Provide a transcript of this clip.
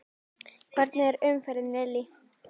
Hvernig er umferðin Lillý?